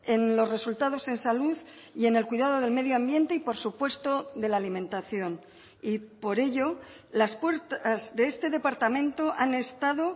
en los resultados en salud y en el cuidado del medio ambiente y por supuesto de la alimentación y por ello las puertas de este departamento han estado